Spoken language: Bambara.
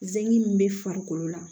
Zɛki min bɛ farikolo la